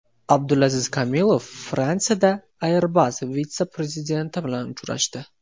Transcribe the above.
Abdulaziz Komilov Fransiyada Airbus vitse-prezidenti bilan uchrashdi.